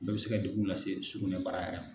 O bɛɛ bɛ se ka degun lase sugunɛbara yɛrɛ